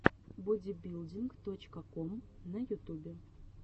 бодибилдинг точка ком на ютубе